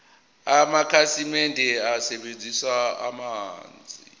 amakhasimende asebenzisa amanzi